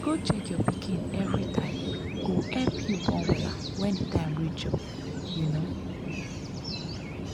i mean say some family dem fit u know want pray um or um do ritual before dem go do operation.